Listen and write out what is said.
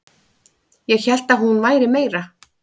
Ég hélt að hún væri meira